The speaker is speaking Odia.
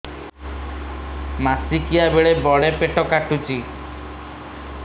ମାସିକିଆ ବେଳେ ବଡେ ପେଟ କାଟୁଚି